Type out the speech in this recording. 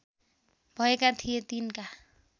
भएका थिए तिनका